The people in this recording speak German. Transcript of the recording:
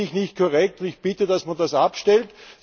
Das finde ich nicht korrekt und ich bitte, dass man das abstellt.